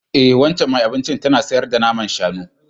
E, waccan mai abincin tana sayar da naman shanu